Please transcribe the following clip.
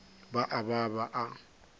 ba a ba ba a